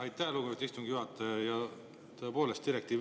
Aitäh, lugupeetud istungi juhataja!